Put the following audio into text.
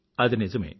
అది నిజమే